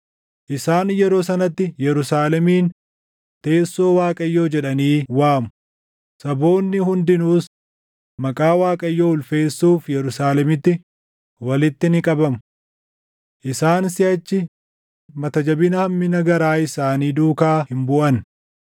Isaan yeroo sanatti Yerusaalemiin Teessoo Waaqayyoo jedhanii waamu; saboonni hundinuus maqaa Waaqayyoo ulfeessuuf Yerusaalemitti walitti ni qabamu. Isaan siʼachi mata jabina hammina garaa isaanii duukaa hin buʼan.